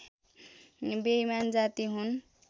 बेइमान जाति हुन्